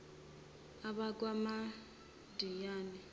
abakwamidiyani